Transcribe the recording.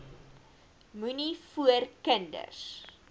moenie voor kinders